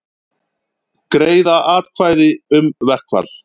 Greiða atkvæði um verkfall